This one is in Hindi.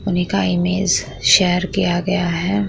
उन्ही का इमेज शेयर किया गया है।